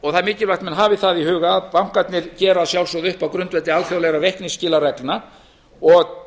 og það er mikilvægt að menn hafi það í huga að bankarnir gera að sjálfsögðu upp á grundvelli alþjóðlegra reikningsskilareglna og